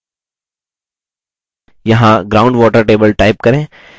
यहाँ ground water table type करें